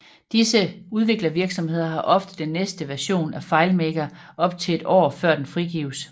Disse udviklervirksomheder har ofte den næste version af FileMaker op til et år før den frigives